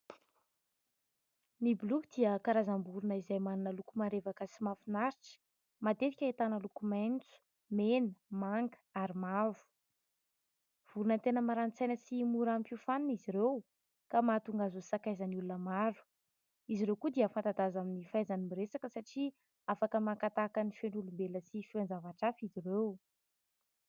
Ny boloky dia karazam-borina izay manana loko marevaka sy mahafinaritra, matetika ahitana loko maitso, mena, manga ary mavo. Vorona tena maranin-tsaina sy mora hampiofanina izy ireo ka mahatonga azy ho sakaizan'ny olona maro, izy ireo koa dia fanta-daza amin'ny fahaizany miresaka satria afaka maka tahaka ny feon'olombelona sy feon-javatra hafa izy ireo.